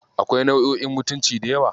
Akwai nau'o'in mutunci da yawa.